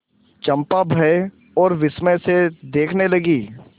चंपा भय और विस्मय से देखने लगी